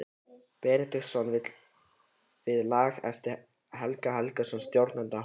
Benediktssonar við lag eftir Helga Helgason, stjórnanda hornaflokksins.